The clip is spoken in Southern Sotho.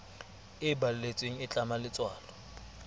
e balletsweng e tlama letswalo